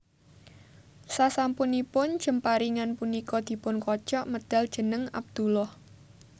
Sasampunipun jemparingan punika dipun kocok medhal jeneng Abdullah